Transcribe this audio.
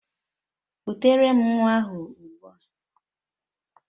Kutere m nwa ahụ ụgbua